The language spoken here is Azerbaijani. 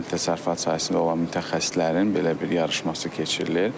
Kənd təsərrüfatı sahəsində olan mütəxəssislərin belə bir yarışması keçirilir.